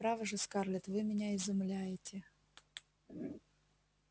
право же скарлетт вы меня изумляете